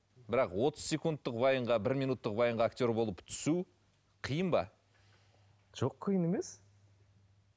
бірақ отыз секундтық вайнға бір минуттық вайнға актер болып түсу қиын ба жоқ қиын емес